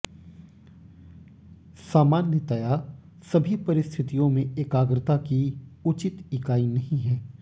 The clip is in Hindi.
सामान्यता सभी परिस्थितियों में एकाग्रता की उचित इकाई नहीं है